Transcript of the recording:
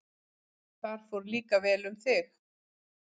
Þar fór líka vel um þig.